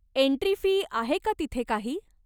Entry fee आहे का तिथे काही?